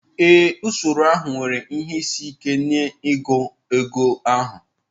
Ee, usoro ahụ nwere ihe isi ike n'ịgụ ego ahụ.